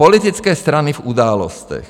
Politické strany v Událostech.